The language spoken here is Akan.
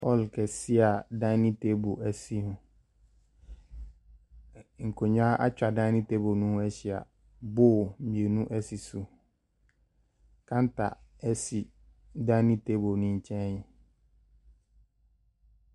Hall kɛseɛ a dinning table sim. Ɛ nkonnwa atwa dinning table no ho ahyia. Bowl mmienu si so. Counter si dinning table no nkyɛn.